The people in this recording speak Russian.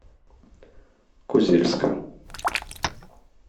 козельска